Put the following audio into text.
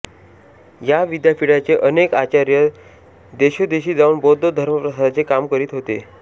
या विद्यापीठाचे अनेक आचार्य देशोदेशी जाऊन बौद्ध धर्मप्रसाराचे काम करीत होते